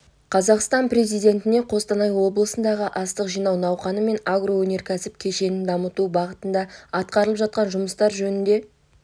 қазақстан президентіне қостанай облысындағы астық жинау науқаны мен агроөнеркәсіп кешенін дамыту бағытында атқарылып жатқан жұмыстар жөнінде